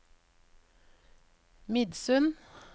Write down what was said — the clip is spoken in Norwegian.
Midsund